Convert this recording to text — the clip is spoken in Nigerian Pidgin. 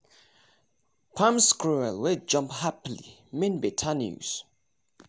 palm squirrel wey jump happily mean better news